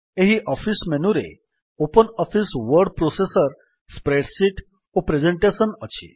ଏହି ଅଫିସ୍ ମେନୁରେ open office word processor spreadsheet ଓ ପ୍ରେଜେଣ୍ଟେସନ୍ ଅଛି